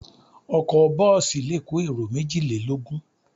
Ọkọ̀ bọ́ọ́sì le kó èrò méjìlélógún.